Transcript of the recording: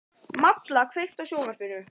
Malla, kveiktu á sjónvarpinu.